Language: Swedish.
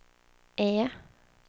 E